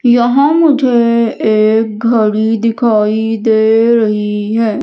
यहां मुझे एक घड़ी दिखाई दे रही है।